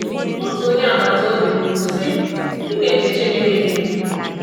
Otu onye agbata obi kwuru sị, ‘ Ị na-efe Chineke dị ndụ.